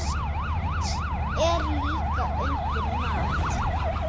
Haft er líka undir mat.